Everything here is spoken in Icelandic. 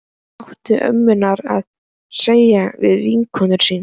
Hvað áttu ömmurnar að segja við vinkonur sínar?